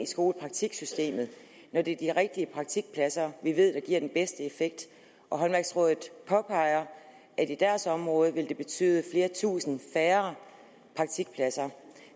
skolepraktiksystemet når det er de rigtige praktikpladser vi ved der giver den bedste effekt håndværksrådet påpeger at i deres område vil det betyde flere tusind færre praktikpladser